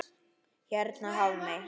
Hérna Hafmey.